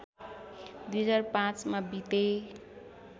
२००५ मा बिते